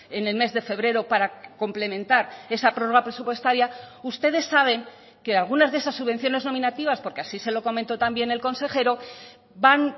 en el mes de febrero para complementar esa prórroga presupuestaria ustedes saben que algunas de esas subvenciones nominativas porque así se lo comentó también el consejero van